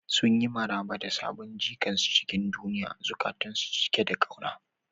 Sun yi maraba da sabon jikan su cikin duniya, zukatansu cike da kauna.